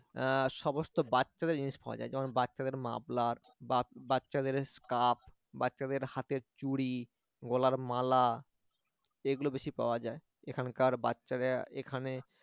আহ সমস্ত বাচ্চাদের জিনিস পাওয়া যায় যেমন বাচ্চাদের মাফলার বা বাচ্চাদের স্কার্ফ বাচ্চাদের হাতের চুড়ি গলার মালা এগুলো বেশি পাওয়া যায় এখানকার বাচ্চাদের এখানে